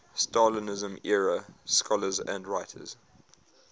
stalinism era scholars and writers